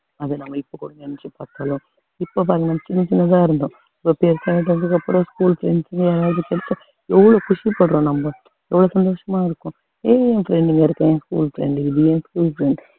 அதை நம்ம இப்ப கூட நினைச்சுப் பார்த்தாலும் இப்ப பாருங்க சின்னச் சின்னதா இருந்தோம் இப்போ பெருசாயிட்டதுக்கு அப்புறம் school friends ங்க யாரவது கிடைச்சா எவ்வளவு குஷிப்படுறோம் நம்ம எவ்வளவு சந்தோஷமா இருக்கோம் ஏய் என் friend இங்க இருக்கா என் school friend இது என் school friends